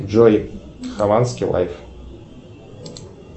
джой хованский лайф